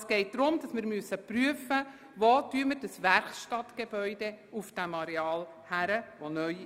Es geht darum, dass wir prüfen müssen, wo auf dem Gsteig-Areal das neue Werkstattgebäude erstellt werden soll.